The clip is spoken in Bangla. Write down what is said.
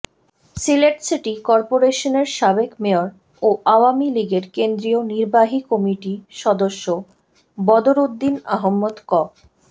সিলেট সিটি করপোরেশনের সাবেক মেয়র ও আওয়ামী লীগের কেন্দ্রীয় নির্বাহী কমিটির সদস্য বদরউদ্দিন আহমদ ক